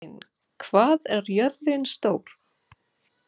Guðsteinn, hvað er jörðin stór?